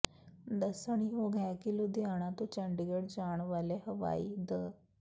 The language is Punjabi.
ਦੱਸਣਯੋਗ ਹੈ ਕਿ ਲੁਧਿਆਣਾ ਤੋਂ ਚੰਡੀਗੜ ਜਾਣ ਵਾਲੇ ਹਾਈਵੇ ਦ